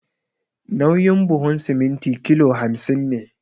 Nauyin buhun siminti kilo hamsin ne